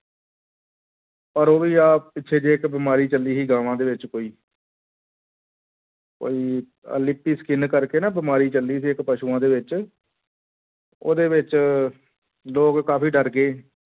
ਪਰ ਉਹ ਵੀ ਆਹ ਪਿੱਛੇ ਜਿਹੇ ਇੱਕ ਬਿਮਾਰੀ ਚੱਲੀ ਸੀ ਗਾਵਾਂ ਦੇ ਵਿੱਚ ਕੋਈ ਕੋਈ ਆਹ ਲਿਪੀ skin ਕਰਕੇ ਨਾ ਬਿਮਾਰੀ ਚੱਲੀ ਸੀ ਇੱਕ ਪਸੂਆਂ ਦੇ ਵਿੱਚ ਉਹਦੇ ਵਿੱਚ ਲੋਕ ਕਾਫ਼ੀ ਡਰ ਗਏ,